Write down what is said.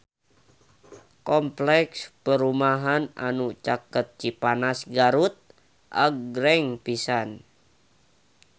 Kompleks perumahan anu caket Cipanas Garut agreng pisan